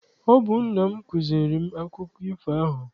Ọ bụ nna m kụziere m akụkọ ifo ahụ.